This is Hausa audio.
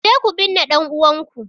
Kuje ku binne ɗan'uwanku!